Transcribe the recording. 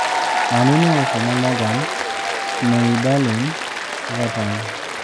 Man U ne ouso ne Morgan Schneiderlin Everton